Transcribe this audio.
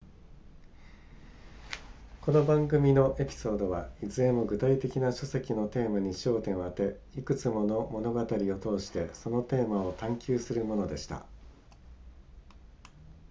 この番組のエピソードはいずれも具体的な書籍のテーマに焦点を当ていくつもの物語を通してそのテーマを探求するものでした